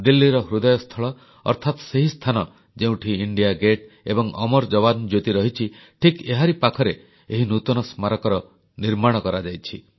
ଦିଲ୍ଲୀର କେନ୍ଦ୍ରସ୍ଥଳ ଅର୍ଥାତ୍ ସେହି ସ୍ଥାନ ଯେଉଁଠି ଇଣ୍ଡିଆ ଗେଟ୍ ଏବଂ ଅମର ଯବାନ ଜ୍ୟୋତି ରହିଛି ଠିକ୍ ଏହାରି ପାଖରେ ଏହି ନୂତନ ସ୍ମାରକୀର ନିର୍ମାଣ କରାଯାଇଛି